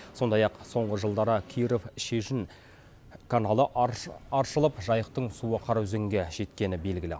сондай ақ соңғы жылдары киров шежін каналы аршылып жайықтың суы қараөзенге жеткені белгілі